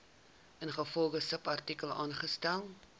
ingevolge subartikel aangestel